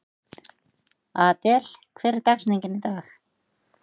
Adel, hver er dagsetningin í dag?